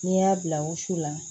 N'i y'a bila wusu la